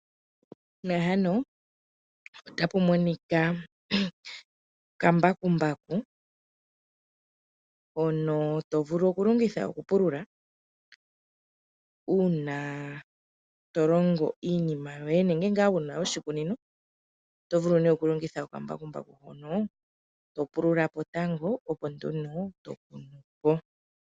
Okambakumbaku hono to vulu okulongitha uuna wuna oshikunino yuna to longo iinima yoye nenge wuna oshikunino. To pululapo tango opo wukune shono to kunupo.